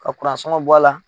Ka sɔngɔn bɔ a la.